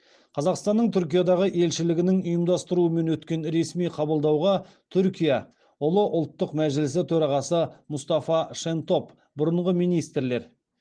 қазақстанның түркиядағы елшілігінің ұйымдастыруымен өткен ресми қабылдауға түркия ұлы ұлттық мәжілісі төрағасы мұстафа шентоп бұрынғы министрлер